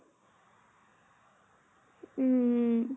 উম